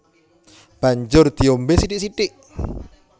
Banjur diombé sithik sithik